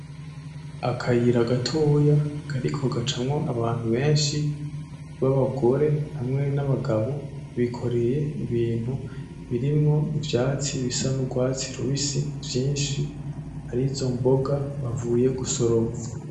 Akayira gatoya kariko gacamwo abantu benshi b'abagore hamwe n'abagabo, bikoreye ibintu birimwo ivyatsi bisa n'ugwatsi rubisi vyinshi, arizo mboga bavuye gusoroma.